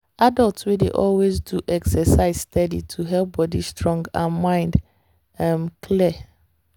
adults dey always do exercise steady to keep body strong and mind um clear.